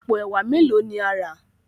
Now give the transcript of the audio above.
àpò ẹwà melo ní a rà?